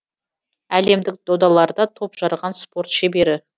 әлемдік додаларда топ жарған спорт шебері